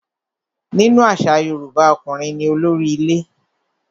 Nínú àṣà Yorùbá, ọkùnrin ní olórí ilé.